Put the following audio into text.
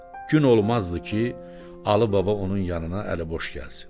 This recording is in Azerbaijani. Gün olmazdı ki, Alıbaba onun yanına əliboş gəlsin.